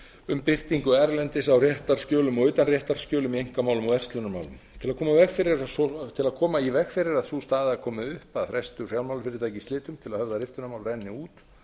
um birtingu erlendis á réttarskjölum og utanréttarskjölum í einkamálum og verslunarmálum til að koma í veg fyrir að sú staða komi upp að frestur fjármálafyrirtækja í slitum til að höfða riftunarmál renni út